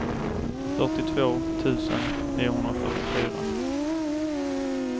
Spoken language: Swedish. fyrtiotvå tusen niohundrafyrtiofyra